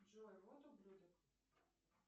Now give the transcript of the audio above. джой вот ублюдок